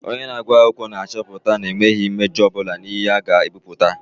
Onye na-agụ akwụkwọ na-achọpụta na emeghị mmejọ ọ bụla n'ihe a ga-ebipụta.